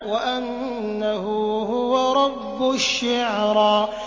وَأَنَّهُ هُوَ رَبُّ الشِّعْرَىٰ